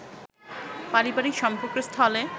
পারিবারিক সম্পর্কের স্থলে